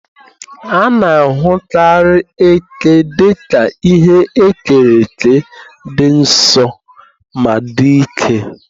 A na-ahụkarị eke dị ka ihe e kere eke dị nsọ ma dị ike.